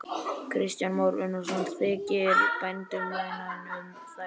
Kristján Már Unnarsson: Þykir bændum vænna um þær?